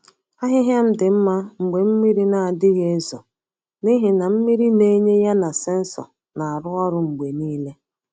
Ahịhịa m dị mma mgbe mmiri na-adịghị ezo n’ihi na mmiri na-enye ya na sensọ na-arụ ọrụ mgbe niile.